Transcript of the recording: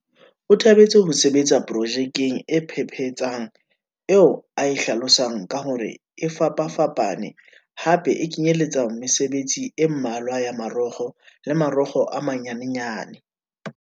O thabetse ho sebetsa pro jekeng e phephetsang eo a e hlalosang ka hore e fapafapa ne hape e kenyeletsa mesebetsi e mmalwa ya marokgo le marokgo a manyanyane.